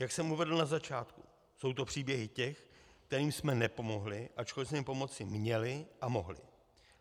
Jak jsem uvedl na začátku, jsou to příběhy těch, kterým jsme nepomohli, ačkoliv jsme jim pomoci měli a mohli.